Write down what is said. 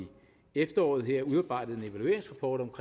efteråret udarbejdet en evalueringsrapport om